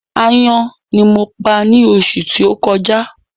Aáyán ní mo pa ni oṣù tó kọjá